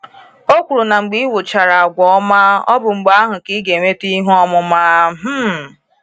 O kwuru na mgbe ị wuchara àgwà ọma, ọ bụ mgbe ahụ ka ị ga enweta ihe ọmụma. um